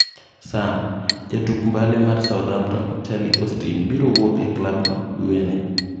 (Sun) Jotuk mbale mar Southamptom Charlie Austine biro wuok e klab no dwee ni.